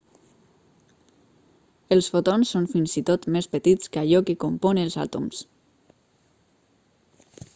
els fotons són fins i tot més petits que allò que compon els àtoms